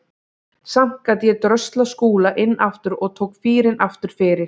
Samt gat ég dröslað Skúla inn aftur og tók fýrinn aftur fyrir.